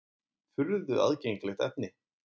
Furðu aðgengilegt efni!